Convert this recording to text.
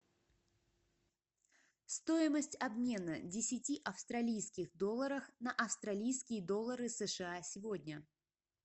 стоимость обмена десяти австралийских долларах на австралийские доллары сша сегодня